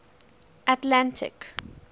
atlantic